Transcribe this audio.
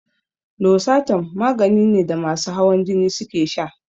Losartan magani ne da masu hawan jini suke sha